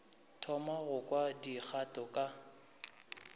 thoma go kwa dikgato ka